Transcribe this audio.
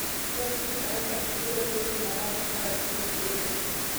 Peptic ulcers biro brt marach ka ok o thiedhe